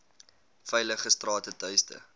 veilige strate tuiste